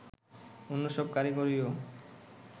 অন্য সব কারিগরিও